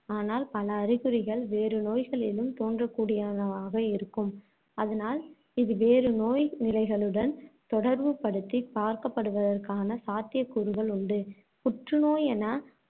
ஆனால் பல அறிகுறிகள், வேறு நோய்களிலும் தோன்றக்கூடியனவாக இருக்கும். அதனால் இது வேறு நோய் நிலைகளுடன் தொடர்புபடுத்திப் பார்க்கப்படுவதற்கான சாத்தியக் கூறுகள் உண்டு. புற்றுநோய் என